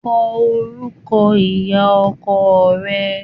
Kọ orúkọ ìyá ọkọ rẹ.